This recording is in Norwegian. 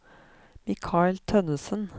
Mikael Tønnesen